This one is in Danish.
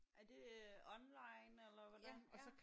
Er det øh online eller hvordan?